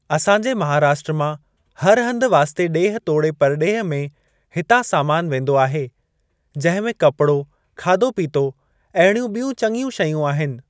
असां जे महाराष्ट्र मां हर हंधु वास्ते ॾेह तोड़े परॾेह में हितां समानु वेंदो आहे जंहिं मे कपड़ो खाधो पीतो अहिड़ियूं ॿियूं चंङियूं शयूं आहिनि।